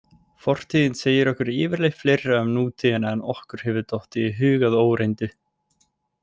Fortíðin segir okkur yfirleitt fleira um nútíðina en okkur hefði dottið í hug að óreyndu.